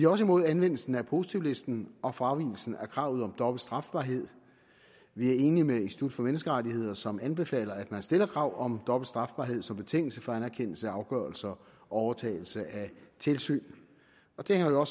også imod anvendelse af positivlisten og fravigelsen af kravet om dobbelt strafbarhed vi er enige med institut for menneskerettigheder som anbefaler at man stiller krav om dobbelt strafbarhed som betingelse for anerkendelse af afgørelser og overtagelse af tilsyn det hænger jo